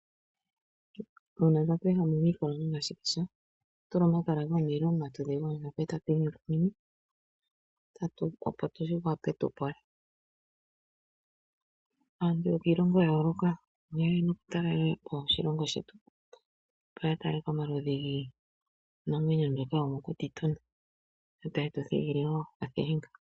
Uuna tatu ehama omikolo nenge omashikisha ohatu tula omakala gomulilo komatudhi gondjamba, opo twii yukumine. Aantu yokiilongo ya yooloka oha yeya moshilongo shetu ya tale omaludhi giinamwenyo mbyoka tuna yo tayetu thigile okathilinga.